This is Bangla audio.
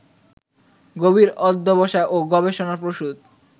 গভীর অধ্যবসায় ও গবেষণাপ্রসূত